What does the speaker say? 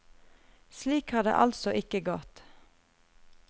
Slik har det altså ikke gått.